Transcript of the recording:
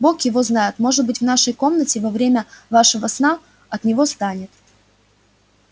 бог его знает может быть в нашей комнате во время вашего сна от него станет